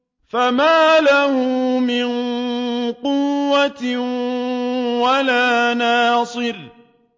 فَمَا لَهُ مِن قُوَّةٍ وَلَا نَاصِرٍ